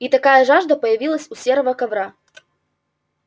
и такая жажда появилась у серого ковра